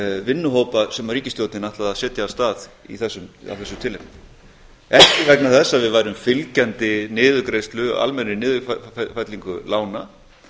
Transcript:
vinnuhópa sem ríkisstjórnin ætlaði að setja á stað af þessu tilefni ekki vegna þess að við værum fylgjandi almennri niðurfellingu lána